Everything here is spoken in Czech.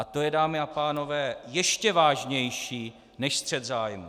A to je, dámy a pánové, ještě vážnější než střet zájmů.